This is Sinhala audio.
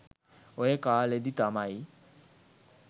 ඔය කාලෙදි තමයි